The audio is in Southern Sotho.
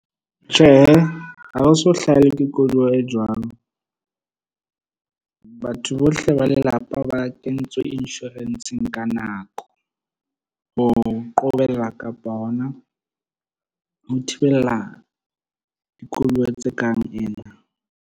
Tjhehe, ha o so hlahelwe ke koduwa e jwalo. Batho bohle ba lelapa ba kentswe insurance-eng ka nako. Ho qobella kapa hona ho thibella koduwa tse kareng ena.